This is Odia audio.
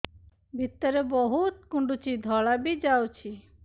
ଭିତରେ ବହୁତ କୁଣ୍ଡୁଚି ଧଳା ବି ଯାଉଛି